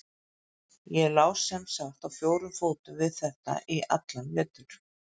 Ég lá sem sagt á fjórum fótum við þetta í allan vetur.